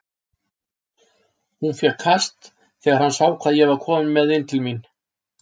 Hann fékk kast þegar hann sá hvað ég var kominn með inn til mín.